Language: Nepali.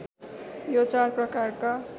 यो चार प्रकारका